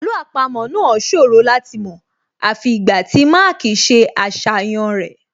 Àlọ́ àpamọ́ náà ṣòro láti mọ̀ àfi ìgbà tí Mark ṣe àṣàyàn rẹ̀